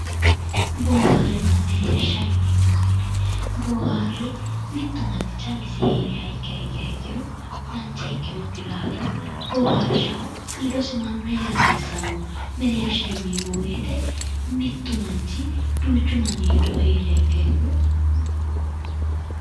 Booharenna mereersha yinneemmo woyte boohare mitu manchi callisi heeriha ikkiha ikkiro dancha ikkinokki daafira booharishaho ledosi mannu heera hasiisano ,mereersha yinneemmo woyte duuchu manni ledo heeriha ikkiro mereero yinnanni.